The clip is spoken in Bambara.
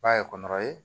Ba ye kɔnɔ ye